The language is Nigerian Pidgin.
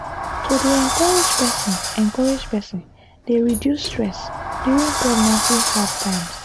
to dey encourage person encourage person dey reduce stress during pregnancy hard times.